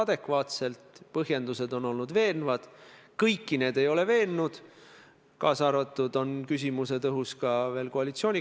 Ma arvan, et sellega saame me, hea Taavi Rõivas, mõlemad näidata, et meie prokuratuur Eestis on poliitiliselt sõltumatu ega ole kallutatud.